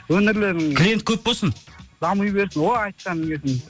өнерлерің клиент көп болсын дами берсін о айтқаның келсін